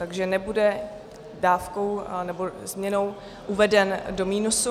Takže nebude dávkou nebo změnou uveden do minusu.